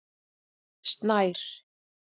Snær